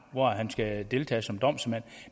hvor han skal deltage som domsmand